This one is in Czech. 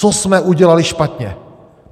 Co jsme udělali špatně?